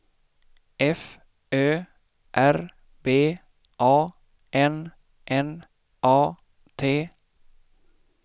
F Ö R B A N N A T